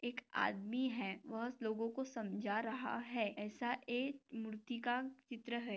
एक आदमी है वह लोगों कों समझा रहा है ऐसा एक ऐसा एक मूर्ति का चित्र है।